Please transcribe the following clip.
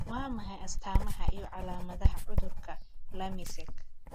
Waa maxay astamaha iyo calaamadaha cudurka Lymeske?